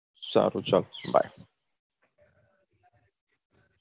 સારું ચલ bye